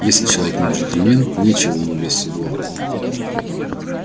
если человек не джентльмен нечего ему лезть в седло